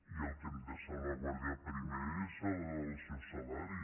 i el que hem de salvaguardar primer és el seu salari